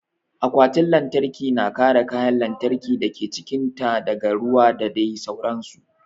Akwatin lantarki na kare kayan lantarkin dake cikin ta daga ruwa da dai sauran su